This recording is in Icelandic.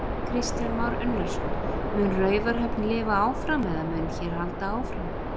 Kristján Már Unnarsson: Mun Raufarhöfn lifa áfram eða mun hér halda áfram?